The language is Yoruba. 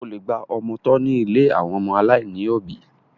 O lè gba ọmọ tọ́ ní ilé àwọn ọmọ aláìní òbí.